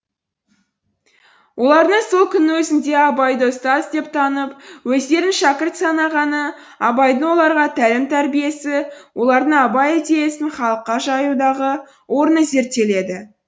олардың сол күннің өзінде абайды ұстаз деп танып өздерін шәкірт санағаны абайдың оларға тәлім тәрбиесі олардың абай идеясын халыққа жаюдағы орны зерттеледі